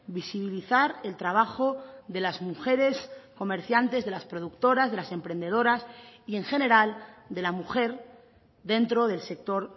visibilizar el trabajo de las mujeres comerciantes de las productoras de las emprendedoras y en general de la mujer dentro del sector